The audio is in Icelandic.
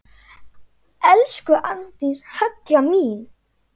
Elsku Arndís Halla mín.